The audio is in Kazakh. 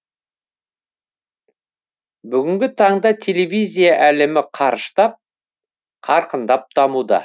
бүгінгі таңда телевизия әлемі қарыштап қарқындап дамуда